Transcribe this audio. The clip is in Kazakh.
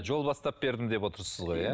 жол бастап бердім деп отырсыз ғой иә